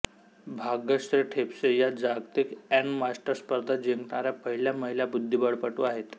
भागश्री ठिपसे या जागतिक grand master स्पर्धा जिंकणाऱ्या पहिल्या महिला बुद्धिबळपटू आहेत